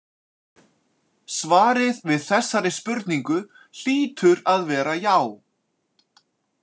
Svarið við þessari spurningu hlýtur að vera „já“.